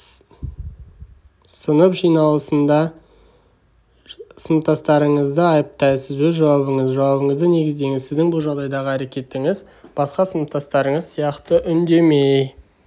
сынып жиналысында сыныптастарыңызды айыптайсыз өз жауабыңыз жауабыңызды негіздеңіз сіздің бұл жағдайдағы әрекетіңіз басқа сыныптастарыңыз сияқты үндемей